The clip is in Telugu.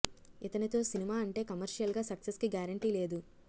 ఇతనితో సినిమా అంటే కమర్షియల్ గా సక్సెస్ కి గ్యారెంటీ లేదు